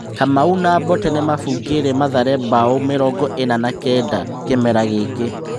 Kamau na Mbote nĩmabungĩire Mathare mbaũ mĩrongo ĩna na kenda kĩmera gĩkĩ.